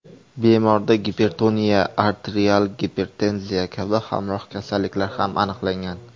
Bemorda gipertoniya, arterial gipertenziya kabi hamroh kasalliklar ham aniqlangan.